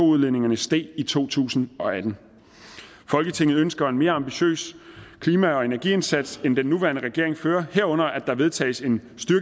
udledningen steg i to tusind og atten folketinget ønsker en mere ambitiøst klima og energiindsats end den nuværende regering fører herunder at der vedtages en